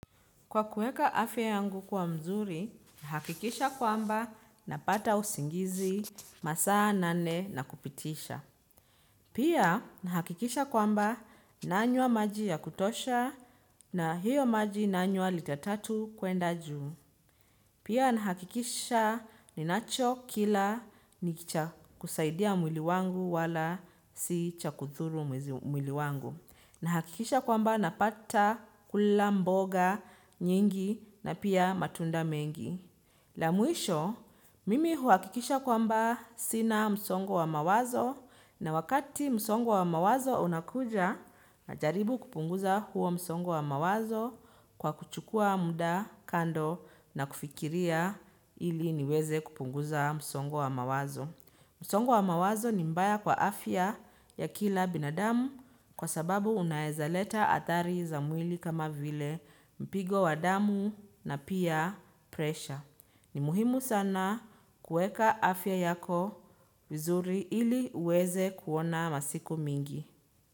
Kwa kueka afya yangu kwa mzuri, na hakikisha kwamba napata usingizi masaa nane na kupitisha. Pia na hakikisha kwamba nanywa maji ya kutosha na hiyo maji nanywa lita tatu kuenda juu. Pia na hakikisha ninacho kila nikicha kusaidia mwili wangu wala si cha kudhuru mwili wangu. Na hakikisha kwamba napata kula mboga nyingi na pia matunda mengi. La mwisho, mimi huakikisha kwamba sina msongo wa mawazo na wakati msongo wa mawazo unakuja najaribu kupunguza huo msongo wa mawazo kwa kuchukua muda kando na kufikiria ili niweze kupunguza msongo wa mawazo. Musongo wa mawazo ni mbaya kwa afya ya kila binadamu kwa sababu unaezaleta hatari za mwili kama vile mpigo wa damu na pia presha. Ni muhimu sana kueka afya yako vizuri ili uweze kuona masiku mingi.